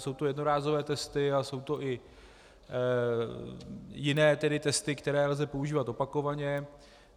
Jsou to jednorázové testy a jsou to i jiné tedy testy, které lze používat opakovaně.